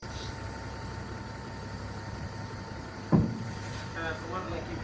হ্যাঁ তোমার নাকি,